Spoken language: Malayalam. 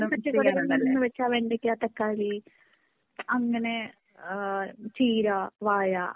എല്ലാ പച്ചകറികളും എന്നു വെച്ചാൽ വെണ്ടയ്ക്ക ,തക്കാളി അങ്ങനെ ചീരാ ,വാഴ